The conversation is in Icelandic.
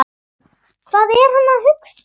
Hvað er hann að hugsa?